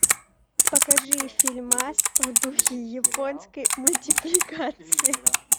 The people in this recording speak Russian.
покажи фильмас в духе японской мультипликации